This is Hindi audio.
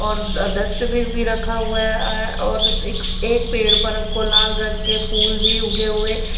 और डस्टबिन भी रखा हुआ है और एक पेड़ पर हमको लाल रंग के फूल भी उगे हुए --